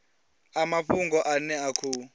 a mafhungo ane a khou